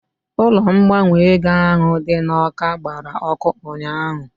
Ụlọ ngbanwe ego ahụ dị n'Awka gbara ọkụ ụnyaahụ